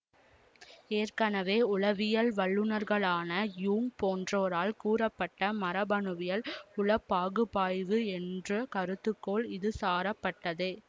ஏற்கனவே உளவியல் வல்லுநர்களான யூங் போன்றோரால் கூறப்பட்ட மரபணுவியல் உளப்பாகுப்பாய்வு என்ற கருத்துக்கோள் இதுசாரப்பட்டதே